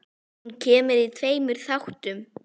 Hún kemur í tveimur þáttum.